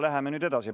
Läheme nüüd edasi.